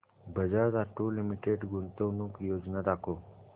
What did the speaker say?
Bajaj Auto Limited गुंतवणूक योजना दाखव